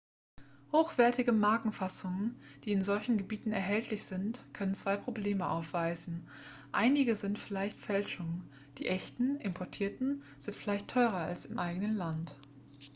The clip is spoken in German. hochwertige markenfassungen die in solchen gebieten erhältlich sind können zwei probleme aufweisen einige sind vielleicht fälschungen die echten importierten sind vielleicht teurer als im eigenen land